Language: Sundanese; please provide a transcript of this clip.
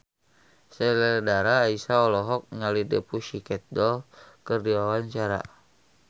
Sheila Dara Aisha olohok ningali The Pussycat Dolls keur diwawancara